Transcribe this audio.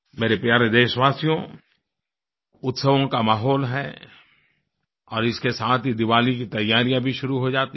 मेरे प्यारे देशवासियो उत्सवों का माहौल है और इसके साथ ही दीवाली की तैयारियाँ भी शुरू हो जाती हैं